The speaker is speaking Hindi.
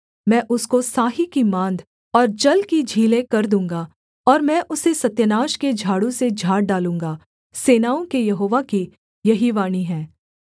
मैं उसको साही की माँद और जल की झीलें कर दूँगा और मैं उसे सत्यानाश के झाड़ू से झाड़ डालूँगा सेनाओं के यहोवा की यही वाणी है